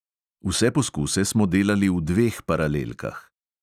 Vse poskuse smo delali v dveh paralelkah.